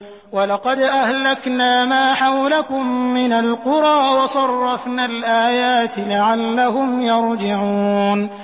وَلَقَدْ أَهْلَكْنَا مَا حَوْلَكُم مِّنَ الْقُرَىٰ وَصَرَّفْنَا الْآيَاتِ لَعَلَّهُمْ يَرْجِعُونَ